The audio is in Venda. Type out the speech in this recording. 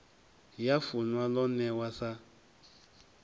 ya funwa lo newa sa